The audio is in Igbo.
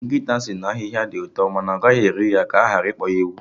Nkịta sị na ahịhịa dị ụtọ ma ọ gaghị eri ya, ka aghara ịkpọ ya ewu